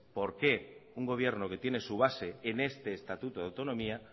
por qué un gobierno que tiene su base en este estatuto de autonomía